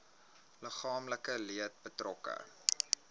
liggaamlike leed betrokke